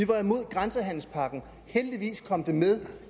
var imod grænsehandelspakken heldigvis kom det med